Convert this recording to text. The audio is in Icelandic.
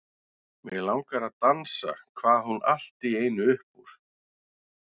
Mig langar að dansa kvað hún allt í einu upp úr.